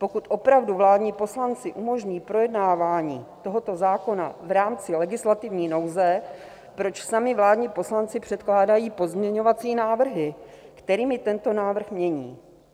Pokud opravdu vládní poslanci umožní projednávání tohoto zákona v rámci legislativní nouze, proč sami vládní poslanci předkládají pozměňovací návrhy, kterými tento návrh mění?